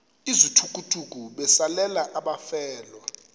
izithukuthuku besalela abafelwa